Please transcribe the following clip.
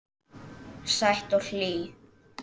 Sæt og hlý.